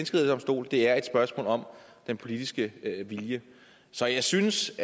det er et spørgsmål om den politiske vilje så jeg synes